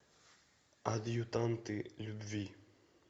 адъютанты любви